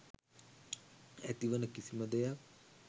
ඇතිවන කිසිම දෙයක්